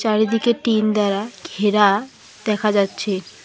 চারিদিকে টিন দ্বারা ঘেরা দেখা যাচ্ছে।